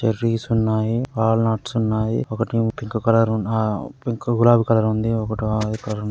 Cherries ఉన్నాయి. All nuts ఉన్నాయి. ఒకటి పింక్ కలర్ గులాబీ కలర్ ఉంది.